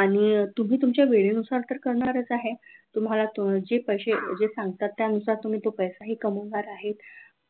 आणि तुम्ही तुमच्या वेळेनुसार तर करणारच आहे तुम्हाला तुमचे पैसे जे सांगतात त्यानुसार तुम्ही तो पैसाही कमवणार आहे